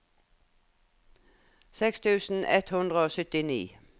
seks tusen ett hundre og syttini